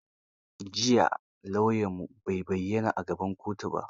Jiya lauyanmu bai bayyana a gaban kotu ba.